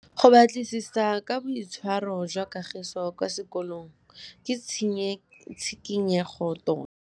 Go batlisisa ka boitshwaro jwa Kagiso kwa sekolong ke tshikinyêgô tota.